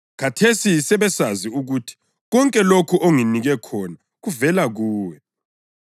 Khathesi sebesazi ukuthi konke lokho onginike khona kuvela kuwe.